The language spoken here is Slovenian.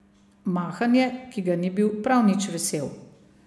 Mahanje, ki ga ni bil prav nič vesel.